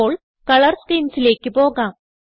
ഇപ്പോൾ കളർ schemesലേക്ക് പോകാം